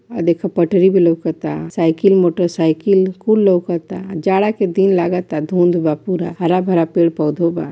अ देखा पटरी भी लौकता साइकिल मोटर सायकिल कुल लौकता जाड़ा के दिन लागता धुंध बा पूरा हरा-भरा पेड़-पौधों बा।